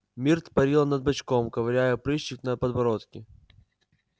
миртл парила над бачком ковыряя прыщик на подбородке